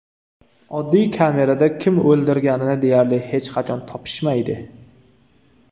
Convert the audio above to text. Oddiy kamerada kim o‘ldirganini deyarli hech qachon topishmaydi.